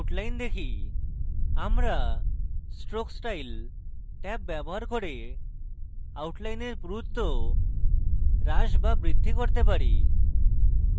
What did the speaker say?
আমরা stroke style tab ব্যবহার করে outline পুরুত্ব হ্রাস বা বৃদ্ধি করতে পারি